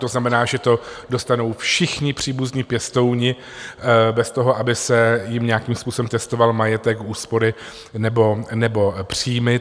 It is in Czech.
To znamená, že to dostanou všichni příbuzní pěstouni bez toho, aby se jim nějakým způsobem testoval majetek, úspory nebo příjmy.